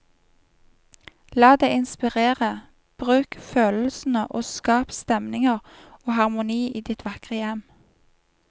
La deg inspirere, bruk følelsene og skap stemninger og harmoni i ditt vakre hjem.